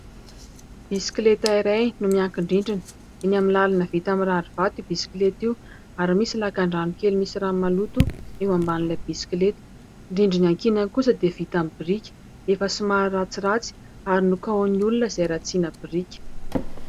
Bisikileta iray no miankin-drindrina. Eny amin'ny làlana vita amin'ny rarivato io bisikileta io ary misy lakan-drano kely misy rano maloto eo ambanin'ilay bisikileta. Ny rindrina iankinany kosa dia vita aminy biriky efa somary ratsiratsy ary nokahon'ny olona izay ratsiana biriky.